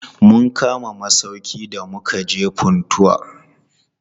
Mun kama masauƙi da mukaje Funtua.